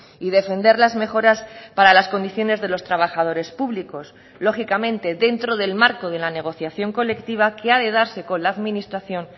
y defender las mejoras para las condiciones de los trabajadores públicos lógicamente dentro del marco de la negociación colectiva que ha de darse con la administración